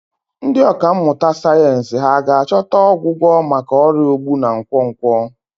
Ndị ọkà mmụta sayensị hà ga-achọta ọgwụgwọ maka ọrịa ogbu na nkwonkwo?